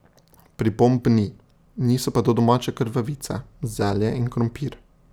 Pripomb ni, niso pa to domače krvavice, zelje in krompir.